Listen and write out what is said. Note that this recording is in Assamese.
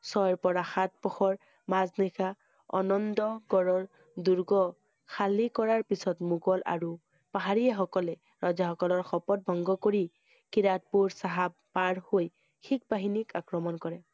ছয়ৰ পৰা সাত পূহৰ মাজ নিশা আনন্দ গড়ৰ দুৰ্গ খালি কৰাৰ পিছত মোগল আৰু পাহাৰীয়াসকলে ৰজা সকলৰ শপত ভংগ কৰি খিৰাদপুৰ চাহাব পাৰ হৈ শিখ বাহিনীক আক্ৰমণ কৰে।